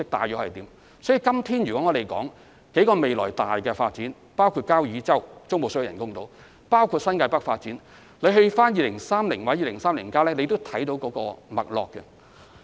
因此，今天談論的多項重大發展計劃，包括交椅洲中部水域人工島及新界北發展，均可在《香港2030》或《香港 2030+》看到脈絡。